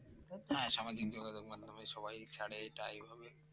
হ্যাঁ সামাজিক যোগাযোগ মাধ্যমে সবাই ছাড়ে এটা এভাবে